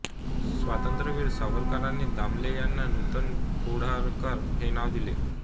स्वातंत्र्यवीर सावरकरांनी दामले यांना नूतन पेंढारकर हे नाव दिले